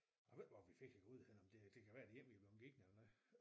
Jeg ved ikke hvor vi fik æ gryde henne om det det kan være det er en vi er bleven givet eller noget